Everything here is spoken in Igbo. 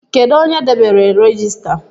Kedụ onye debere regista?